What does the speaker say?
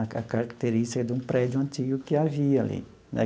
A a característica de um prédio antigo que havia ali né.